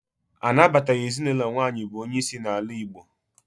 Anabataghị ezinụlọ nwaanyị bụ onye isi n'ala Igbo.